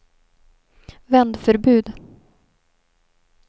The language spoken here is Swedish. vändförbud